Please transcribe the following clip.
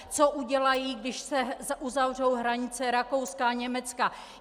Co udělají, když se uzavřou hranice Rakouska a Německa?